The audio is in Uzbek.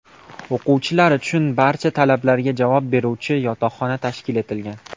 O‘quvchilar uchun barcha talablarga javob beruvchi yotoqxona tashkil etilgan.